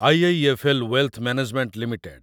IIFL. Wealth management limited